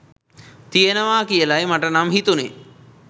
තියෙනවා කියලයි මට නම් හිතුණේ.